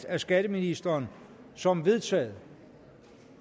af skatteministeren som vedtaget